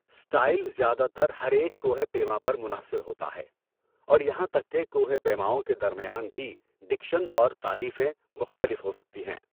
Style زیادہ تر ہر ایک کوہ پیما پر منحصر ہوتا ہے اور یہاں تک کہ کوہ پیماؤں کے درمیان بھی ڈکشن اور تعریفیں مختلف ہو سکتی ہیں۔